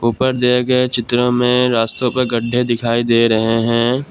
ऊपर दिए गए चित्र में रास्तों पे गड्डे दिखाई दे रहे हैं।